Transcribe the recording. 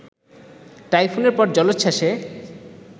টাইফুনের পর জলোচ্ছ্বাসে